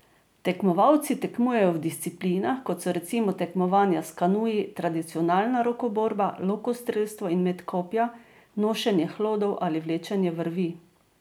Tekmovalci tekmujejo v disciplinah, kot so recimo tekmovanja s kanuji, tradicionalna rokoborba, lokostrelstvo in met kopja, nošenje hlodov ali vlečenje vrvi ...